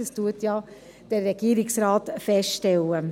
dies stellt ja der Regierungsrat fest.